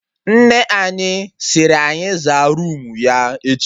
Nne anyị siri anyị zaa roomu ya echi